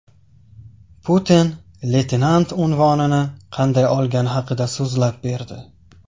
Putin leytenant unvonini qanday olgani haqida so‘zlab berdi.